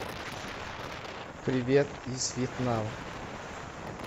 привет из вьетнама